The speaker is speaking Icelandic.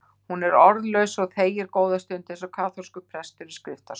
Hún er orðlaus og þegir góða stund, eins og kaþólskur prestur í skriftastól.